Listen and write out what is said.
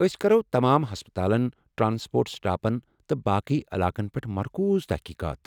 أسۍ کرو تمام ہسپتالن ، ٹرٛانسپورٹ سٹاپن تہٕ باقٕے علاقن پٮ۪ٹھ مرکوٗز تحقیقات ۔